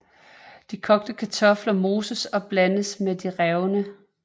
De kogte kartofler moses og blandes med de revne